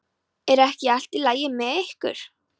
Er ekki allt í lagi með ykkur?